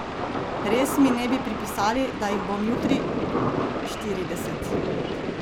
Res mi ne bi pripisali, da jih bom jutri štirideset!